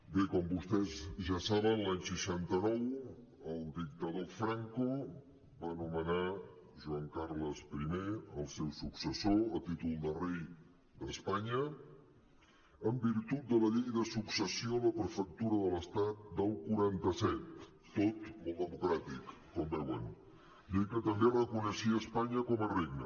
bé com vostès ja saben l’any seixanta nou el dictador franco va nomenar joan carles i el seu successor a títol de rei d’espanya en virtut de la llei de successió a la prefectura de l’estat del quaranta set tot molt democràtic com veuen llei que també reconeixia espanya com a regne